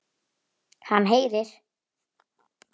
Hann heyrir.